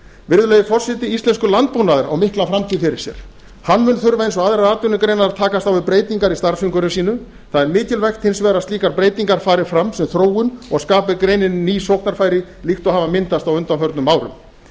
virðulegi forseti íslenskur landbúnaður á mikla framtíð fyrir sér hann mun þurfa eins og aðrar atvinnugreinar að takast á við breytingar í starfsumhverfi sínu það er mikilvægt hins vegar að slíkar breytingar fari fram sem þróun og skapi greininni ný sóknarfæri líkt og hafa myndast á undanförnum árum